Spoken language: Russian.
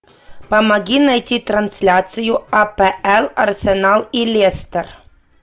помоги найти трансляцию апл арсенал и лестер